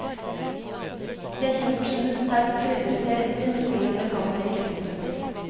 Det er kjent for sine sterkt krydrete retter med tilhørende kaldt drikke. punktum